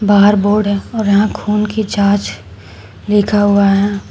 बाहर बोर्ड है और यहां खून की जांच लिखा हुआ है।